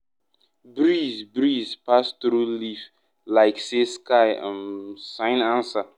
breeze breeze pass through leaf like say sky um sigh answer.